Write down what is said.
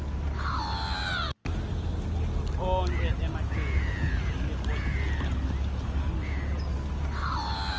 onkhe emacembu etepolitiki